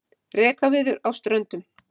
Rekaviður á Ströndum.